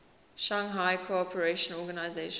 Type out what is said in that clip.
shanghai cooperation organization